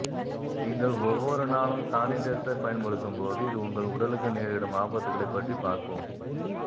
நீங்கள் ஒவ்வொரு நாளும் சானிடைசர் பயன்படுத்தும்போது இது உங்கள் உடலுக்கு நேரிடும் ஆபத்துகளை பற்றி பார்ப்போம்